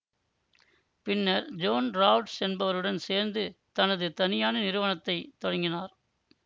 பின்னர் John Rausch என்பவருடன் சேர்ந்து தனது தனியான நிறுவனத்தை தொடங்கினார்